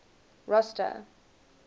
rosta